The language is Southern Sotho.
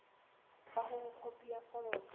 ba hore khopi ya foromo